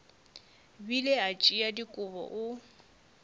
bile a tšea dikobo o